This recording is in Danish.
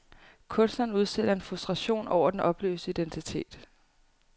Kunstneren udstiller en frustration over den opløste identitet.